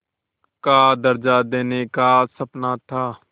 का दर्ज़ा देने का सपना था